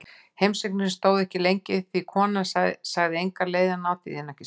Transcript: Heimsóknin stóð ekki lengi því konan sagði enga leið að ná til þín, ekki strax.